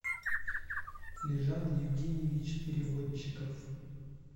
лежан евгеньевич переводчиков